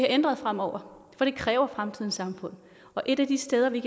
ændret fremover for det kræver fremtidens samfund og et af de steder vi